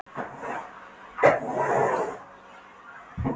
Þaðan var ég sendur niður í Seðlabanka.